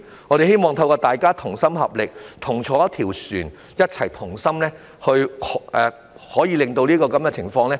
我希望大家同心合力，既同坐一條船，便一起同心捱過這樣的情況。